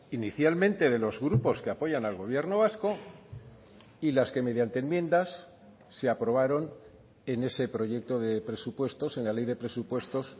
inicialmente de los grupos que apoyan al gobierno vasco y las que mediante enmiendas se aprobaron en ese proyecto de presupuestos en la ley de presupuestos